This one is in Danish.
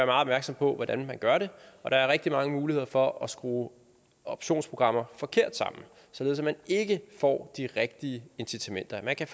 opmærksom på hvordan man gør det og der er rigtig mange muligheder for at skrue optionsprogrammer forkert sammen således at man ikke får de rigtige incitamenter der kan